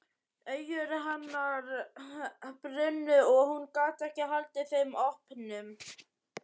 Augu hennar brunnu og hún gat ekki haldið þeim opnum.